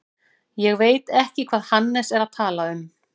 Ég veit ekki hvað Hannes er að tala um.